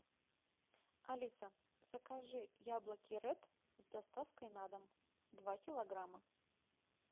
алиса закажи яблоки ред с доставкой на дом два килограмма